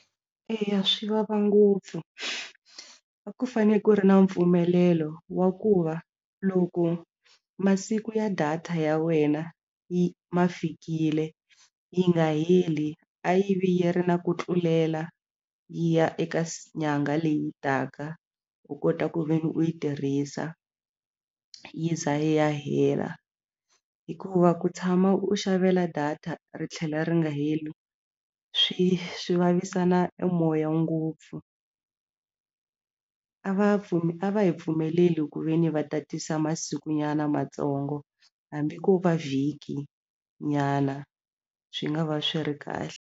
Eya swi vava ngopfu a ku fane ku ri na mpfumelelo wa ku va loko masiku ya data ya wena yi ma fikile yi nga heli a yi vi yi ri na ku tlulela yi ya eka nyangha leyi taka u kota ku ve ni u yi tirhisa yi za yi ya hela hikuva ku tshama u xavela data ri tlhela ri nga heli swi vavisana e moya ngopfu a va a va hi pfumeleli ku ve ni va tatisa masiku nyana matsongo hambi ko va vhiki nyana swi nga va swi ri kahle.